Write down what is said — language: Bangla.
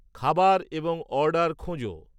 খাবার এবং অর্ডার খোঁজো